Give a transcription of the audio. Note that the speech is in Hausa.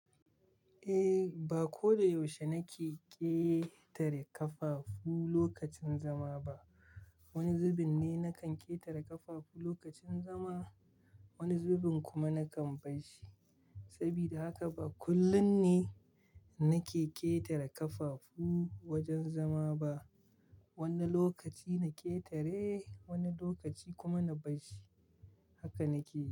Eh, ba ko da yaushe nake ƙetare ƙafafu lokacin zama ba. Wani zubin ne nakan ƙetare ƙafafu lokacin zama, wani zubin kuma nakan barshi. Saboda haka ba kullum ne nake ƙetare ƙafafu wajen zama ba. Wani lokaci na ƙetare, wani lokaci kuma na bashi. Haka nake.